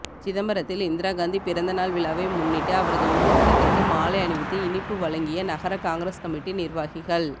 சிதம்பரத்தில் இந்திராகாந்தி பிறந்தநாள் விழாவை முன்னிட்டு அவரது உருவப்படத்திற்கு மாலை அணிவித்து இனிப்பு வழங்கிய நகர காங்கிரஸ் கமிட்டி நிா்வாகிகள்